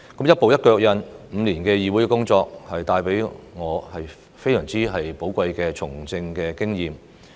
一步一腳印 ，5 年的議會工作帶給我非常寶貴的從政經驗。